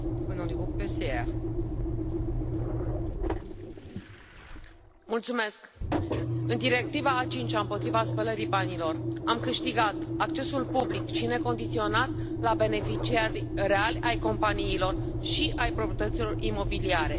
Doamnă președintă, în Directiva a cincea împotriva spălării banilor, am câștigat accesul public și necondiționat la beneficiarii reali ai companiilor și ai proprietăților imobiliare.